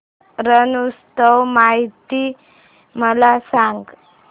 रण उत्सव माहिती मला सांग